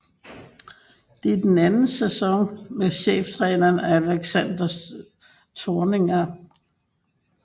Det er den anden sæson med cheftræner Alexander Zorniger